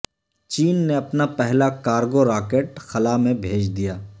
چین نے اپنا پہلا کارگو راکٹ خلا میں بھیج دیا